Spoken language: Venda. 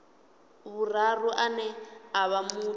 vhuraru ane a vha muthu